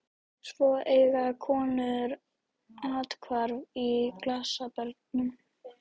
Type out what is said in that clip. Svo eiga konur athvarf í glasabörnum.